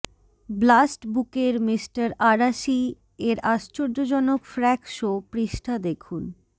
blast বুকের মিঃ আরাশি এর আশ্চর্যজনক ফ্র্যাক শো পৃষ্ঠা দেখুন